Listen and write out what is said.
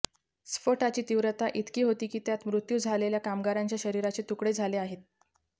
स्फोटाची तीव्रता इतकी होती की त्यात मृत्यू झालेल्या कामगारांच्या शरीराचे तुकडे झाले आहेत